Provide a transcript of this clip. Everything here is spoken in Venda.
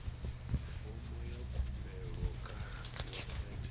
fomo ya khumbelo kha website